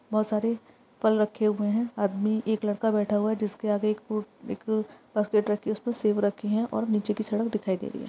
बहुत सारे फल रखे हुए है। आदमी एक लड़का बैठा हुआ है जिसके आगे बास्केट रखी हुई है जिसमे सेब रखे हुए है और नीचे की सड़क दिखाई दे रही है।